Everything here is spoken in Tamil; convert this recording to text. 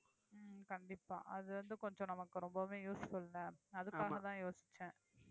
உம் கண்டிப்பா அது வந்து கொஞ்சம் நமக்கு ரொம்பவே useful ல அதுக்காகதான் யோசிச்சேன்